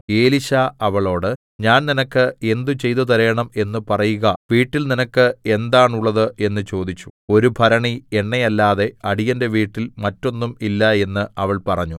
എലീശ അവളോട് ഞാൻ നിനക്ക് എന്ത് ചെയ്തു തരണം എന്ന് പറയുക വീട്ടിൽ നിനക്ക് എന്താണുള്ളത് എന്ന് ചോദിച്ചു ഒരു ഭരണി എണ്ണയല്ലാതെ അടിയന്റെ വീട്ടിൽ മറ്റൊന്നും ഇല്ല എന്ന് അവൾ പറഞ്ഞു